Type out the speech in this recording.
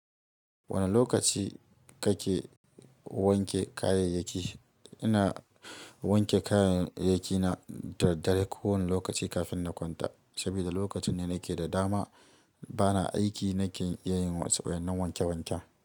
Wane lokaci kake wanke kayayyaki? Ina wanke kayayyaki na dadare ko wani lokaci kafin na kwanta. Saboda lokacin ne nake da dama bana aiki nake iya yin wasu wayan na wanke wanke.